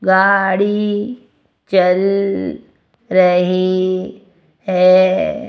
गाड़ी चल रही है।